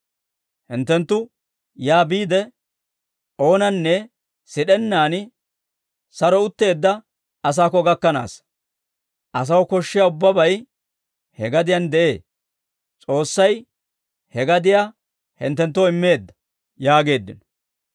Hinttenttu yaa biide, oonanne sid'ennaan saro utteedda asaakko gakkanita. Asaw koshshiyaa ubbabay he gadiyaan de'ee. S'oossay he gadiyaa hinttenttoo immeedda» yaageeddino.